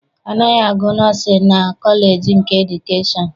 A naghị agụ nọọsịn na kọleji nke edukeshọn.